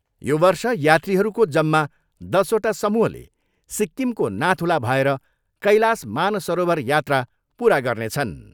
यो वर्ष यात्रीहरूको जम्मा दसवटा समूहले सिक्किमको नाथुला भएर कैलाश मानसरोवर यात्रा पुरा गर्नेछन्।